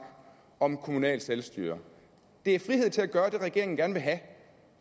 om kommunalt selvstyre det er frihed til at gøre det regeringen gerne vil have